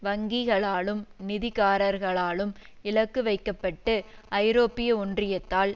வங்கிகளாலும் நிதி காரர்களாலும் இலக்கு வைக்க பட்டு ஐரோப்பிய ஒன்றியத்தால்